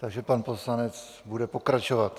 Takže pan poslanec bude pokračovat.